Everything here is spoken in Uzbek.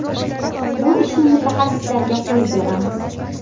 Bu ishni mutaxassislarga qo‘yib beramiz.